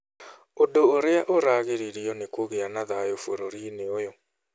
Ũndũ ũrĩa ũragiririo nĩ kũgĩa na thayũ bũrũri-inĩ ũyũ.